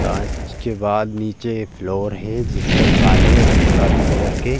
कांच के बाद नीचे एक फ्लोर हे जिसपर काले और गुलाबी कलर के --